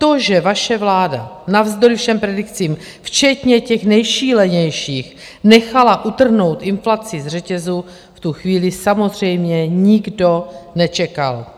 To, že vaše vláda navzdory všem predikcím - včetně těch nejšílenějších - nechala utrhnout inflaci z řetězu, v tu chvíli samozřejmě nikdo nečekal.